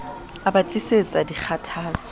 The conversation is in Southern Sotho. a ba tlisetsa dikgathatso ka